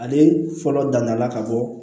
Ale fɔlɔ danna la ka bɔ